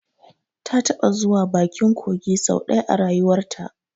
Ta taɓa zuwa bakin kogi sau ɗaya a rayuwarta